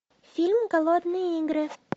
фильм голодные игры